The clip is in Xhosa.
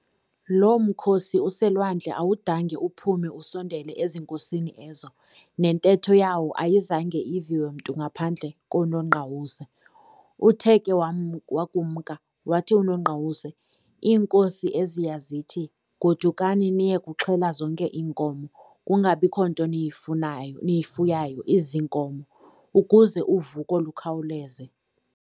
Loo mkhosi uselwandle awudange uphume usondele ezinkosini ezo, nentetho yawo ayizange iviwe mntu ngaphandle koNongqawuse. uthe ke wakumka, wathi uNongqawuse-"Iinkosi eziya zithi, godukani niye kuxhela zonke iinkomo, kungabikho nto niyifuyayo iziinkomo, ukuze uvuko lukhawuleze.